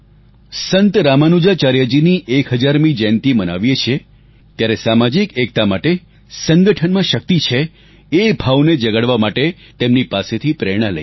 સંત રામાનુજાચાર્યજીની 1000મી જયંતિ મનાવીયે છીએ ત્યારે સામાજિક એકતા માટે સંગઠનમાં શક્તિ છે એ ભાવને જગાડવા માટે તેમની પાસેથી પ્રેરણા લઈએ